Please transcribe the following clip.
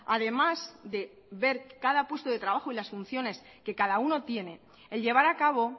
además de ver cada puesto de trabajo y las funciones que cada uno tiene el llevar a cabo